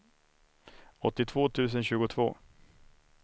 åttiotvå tusen tjugotvå